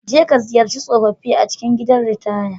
Jeka ziyarci tsofaffi a cikin gidan ritaya.